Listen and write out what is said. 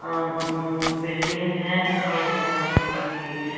यहां पे एक बिल्डिंग है और यहां पे एक--